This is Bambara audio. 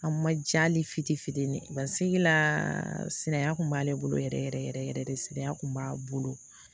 A ma ja ale fitinin fitinin ye basigi la siriya kun b'ale bolo yɛrɛ yɛrɛ yɛrɛ yɛrɛ de siriya kun b'ale bolo